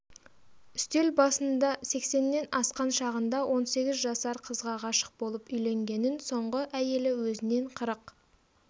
үстел басында сексеннен асқан шағында он сегіз жасар қызға ғашық болып үйленгенін соңғы әйелі өзінен қырық